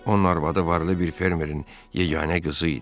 Onun arvadı varlı bir fermerin yeganə qızı idi.